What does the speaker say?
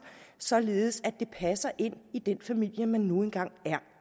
således at det passer ind i den familie man nu engang er